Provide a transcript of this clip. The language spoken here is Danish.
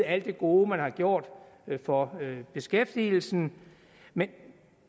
alt det gode man har gjort for beskæftigelsen men